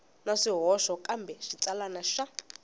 na swihoxo kambe xitsalwana xa